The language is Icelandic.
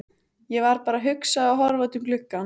Ég var bara að hugsa og horfa út um gluggann.